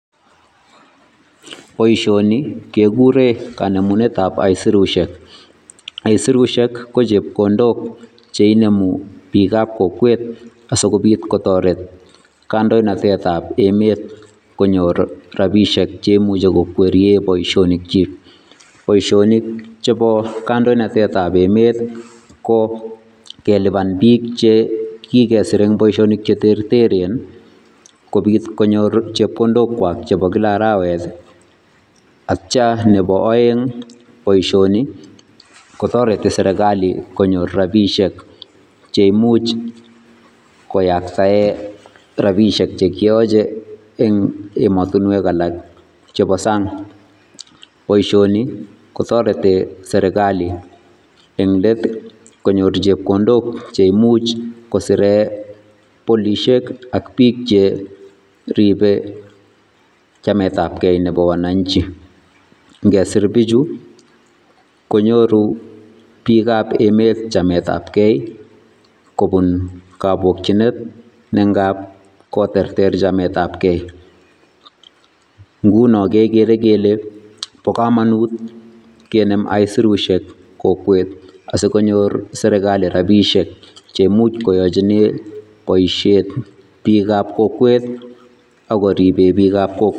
Boisioni kekure kanemunetab aesirusiek aesirusiek ko chepkondok cheinemu biik ab kokwet asikobiit kotoret kandoinatetab emet konyor rapisiek cheimuche ko kweriei boisionik chiik. Boisionik chebo kandoinatetab emet ko keliban biik che kikesir eng boisionik che terteren kobiit konyor chepkondokwak chebo kila araweti atya nebo aeng boisioni kotoreti serikait konyor rapisiek cheimuch koyaksae rapisiek che kiyache eng ematinwek alak chebo sang boisioni kotoreti serikali eng leti konyor chepkondok cheimuch kosire polisiek ak biik cheribe chametabkei nebo wananchi ngesir biichu konyoru biik ab emet chametabkei kobun kapokchinet nengap koterter chametabkei nguno kekere kele bo komonut kenem aisirusiek kokwet asiko nyor serikali rabisiek cheimuchi koachine boisiet biik ab kokwet akoribe biik ab kokwet.